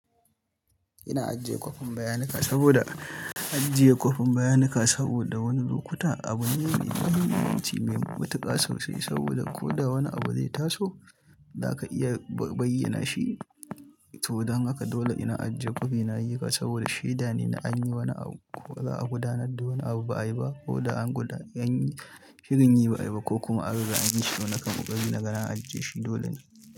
Ina ajiye kwafin bayanika saboda, ajiye kwafin bayanika saboda wani lokuta abu ne mai muhimmanci, mai matuƙa sosai saboda ko da wani abu zai taso, zaka iya bayyana shi. To don haka dole ina ajiye kwafi na y, i haka saboda shaida ne na an yi wani abu, ko ba'a gudanar da wani abu ba ayi ba ko an gudanar, an yi shirin yi ba ai ba, ko kuma abu ba an yi shi ba. Nakan ƙarɓi nagana ajiye shi, dole ne.